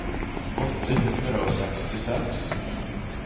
åtte hundre og sekstiseks